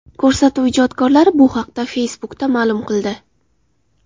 Ko‘rsatuv ijodkorlari bu haqda Facebook’da ma’lum qildi .